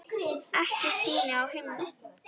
Ekki ský á himni.